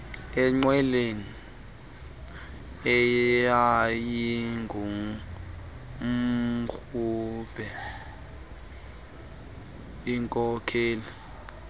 enqweleni eyayingumrhubhe ikhokele